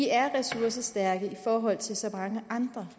er ressourcestærke i forhold til så mange andre